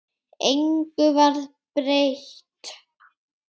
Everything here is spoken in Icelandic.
Engu varð breytt.